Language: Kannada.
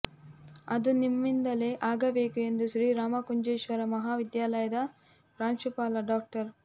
ಅದು ನಮ್ಮಿಂದಲೇ ಆಗಬೇಕು ಎಂದು ಶ್ರೀ ರಾಮಕುಂಜೇಶ್ವರ ಮಹಾವಿದ್ಯಾಲಯದ ಪ್ರಾಂಶುಪಾಲ ಡಾ